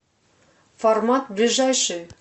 формат ближайший